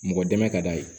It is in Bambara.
Mɔgɔ dɛmɛ ka d'a ye